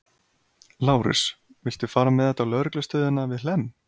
Lárus, viltu fara með þetta á lögreglustöðina við Hlemm?